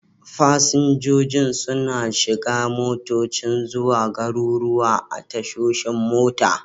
Fasinjojin suna shiga motocin zuwa garuruwa a tashoshin mota.